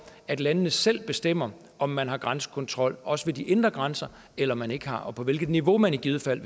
at landene selv bestemmer om man har grænsekontrol også ved de indre grænser eller man ikke har og på hvilket niveau man i givet fald